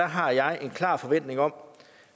har jeg en klar forventning om